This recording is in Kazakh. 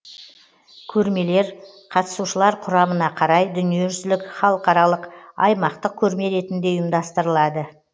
көрмелер қатысушылар құрамына қарай дүниежүзілік халықаралық аймақтық көрме ретінде ұйымдастырылады